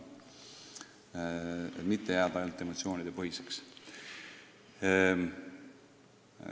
Ärgem lähtugem ainult emotsioonidest!